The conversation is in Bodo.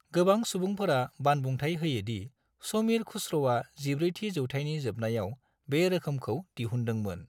गोबां सुबुंफोरा बानबुंथाइ होयो दि समीर खुस्र'आ 14 थि जौथाइनि जोबनायाव बे रोखोमखौ दिहुन्दोंमोन।